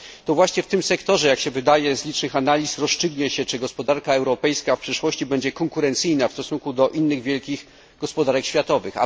To właśnie w tym sektorze jak się wydaje z licznych analiz rozstrzygnie się, czy gospodarka europejska w przyszłości będzie konkurencyjna w stosunku do innych wielkich gospodarek światowych.